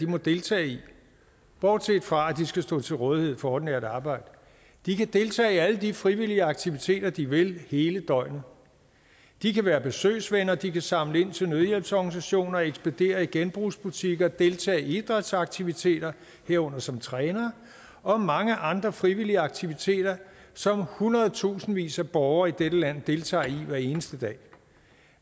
må deltage i bortset fra at de skal stå til rådighed for ordinært arbejde de kan deltage i alle de frivillige aktiviteter de vil hele døgnet de kan være besøgsvenner de kan samle ind til nødhjælpsorganisationer ekspedere i genbrugsbutikker deltage i idrætsaktiviteter herunder som trænere og mange andre frivillige aktiviteter som hundredtusindvis af borgere i dette land deltager i hver eneste dag